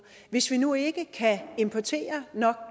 hvis vi nu ikke kan importere nok